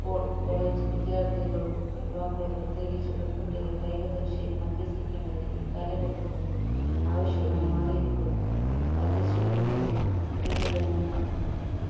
school college വിദ്യാർത്ഥികളും യുവാക്കളും പ്രത്യേകിച്ച് പെൺകുട്ടികൾ കായിക പരിശീലനം അഭ്യസിക്കേണ്ടത് ഈ കാലഘട്ടത്തിന്റെ ആവശ്യമായി മാറിയിരിക്കുന്നു വർധിച്ചു കൊണ്ടിരിക്കുന്ന സ്ത്രീ പീഡനങ്ങൾ